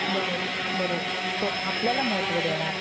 बरोबर, बरोबर. आपल्याला महत्व देणारा